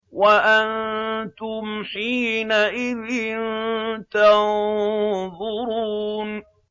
وَأَنتُمْ حِينَئِذٍ تَنظُرُونَ